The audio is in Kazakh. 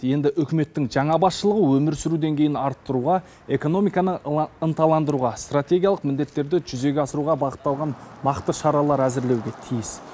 енді үкіметтің жаңа басшылығы өмір сүру деңгейін арттыруға экономиканы ынталандыруға стратегиялық міндеттерді жүзеге асыруға бағытталған нақты шаралар әзірлеуге тиіс